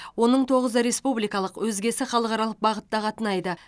оның тоғызы республикалық өзгесі халықаралық бағытта қатынайды